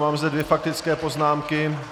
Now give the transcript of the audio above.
Mám zde dvě faktické poznámky.